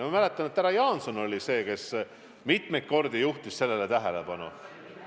Ma mäletan, et härra Jaanson on sellele teemale mitmeid kordi tähelepanu juhtinud.